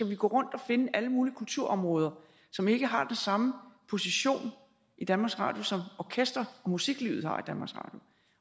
vi gå rundt og finde alle mulige kulturområder som ikke har den samme position i danmarks radio som orkester og musiklivet har